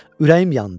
Ürəyim yandı.